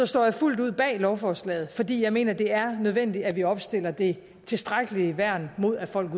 står jeg fuldt ud bag lovforslaget fordi jeg mener det er nødvendigt at vi opstiller det tilstrækkelige værn mod at folk